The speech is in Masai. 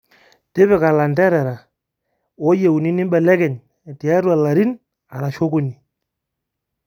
Tipika elanterera ooyieuni nimbelekeny tiatu ilarin arashu okuni